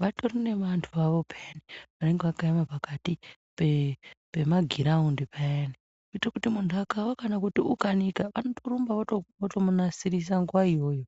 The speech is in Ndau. vatori nevantu vavo pheyani vanenge vakaema pakati pepemagiraundi payani kuitire kuti muntu akawa kana kuti ukaneta wotorumba wotomunasirisa nguwa iyoyo.